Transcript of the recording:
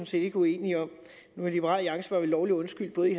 set ikke uenige om men i liberal alliance var vi lovligt undskyldt både i